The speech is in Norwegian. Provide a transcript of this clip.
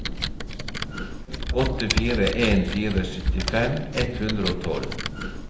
åtte fire en fire syttifem ett hundre og tolv